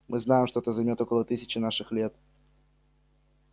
мы знаем что это займёт около тысячи наших лет